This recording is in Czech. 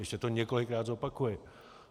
Ještě to několikrát zopakuji.